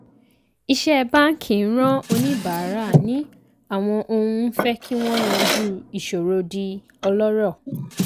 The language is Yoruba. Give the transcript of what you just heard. iṣẹ́ báńkì ń ran oníbàárà ní àwọn ohun ń fẹ́ kí wọ́n yanjú ìṣòro di ọlọ́rọ̀.